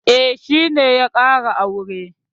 E, shi ne ya ƙara aure.